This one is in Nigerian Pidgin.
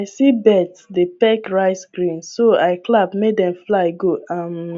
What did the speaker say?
i see birds dey peck rice grains so i clap make dem fly go um